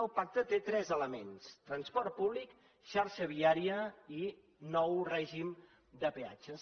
el pacte té tres elements transport públic xarxa viària i nou règim de peatges